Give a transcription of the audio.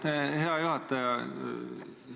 Aitäh, hea juhataja!